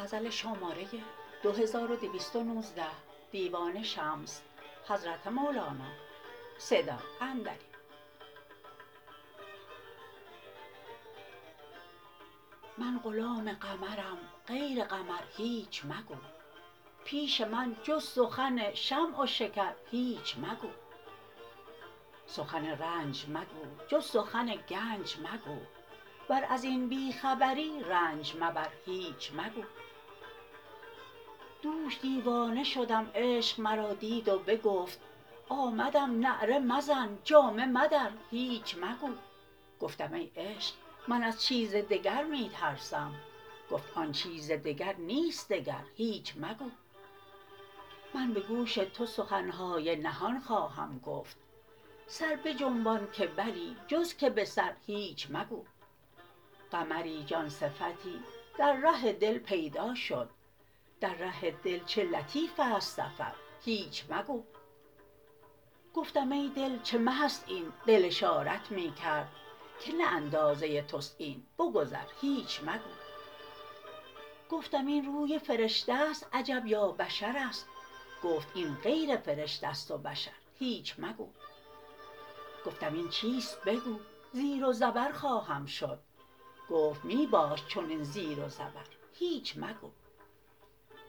من غلام قمرم غیر قمر هیچ مگو پیش من جز سخن شمع و شکر هیچ مگو سخن رنج مگو جز سخن گنج مگو ور از این بی خبری رنج مبر هیچ مگو دوش دیوانه شدم عشق مرا دید و بگفت آمدم نعره مزن جامه مدر هیچ مگو گفتم ای عشق من از چیز دگر می ترسم گفت آن چیز دگر نیست دگر هیچ مگو من به گوش تو سخن های نهان خواهم گفت سر بجنبان که بلی جز که به سر هیچ مگو قمری جان صفتی در ره دل پیدا شد در ره دل چه لطیف ست سفر هیچ مگو گفتم ای دل چه مه ست این دل اشارت می کرد که نه اندازه توست این بگذر هیچ مگو گفتم این روی فرشته ست عجب یا بشرست گفت این غیر فرشته ست و بشر هیچ مگو گفتم این چیست بگو زیر و زبر خواهم شد گفت می باش چنین زیر و زبر هیچ مگو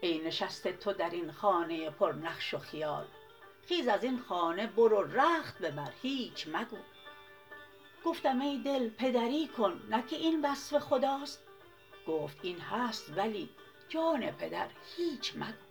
ای نشسته تو در این خانه پرنقش و خیال خیز از این خانه برو رخت ببر هیچ مگو گفتم ای دل پدری کن نه که این وصف خداست گفت این هست ولی جان پدر هیچ مگو